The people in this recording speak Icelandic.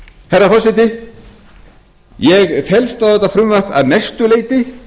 herra forseti ég fellst á þetta frumvarp að mestu leyti